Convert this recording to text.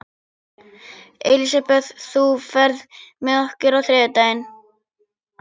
Elisabeth, ferð þú með okkur á þriðjudaginn?